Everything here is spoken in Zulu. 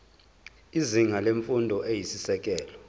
izinga lemfundo eyisisekelo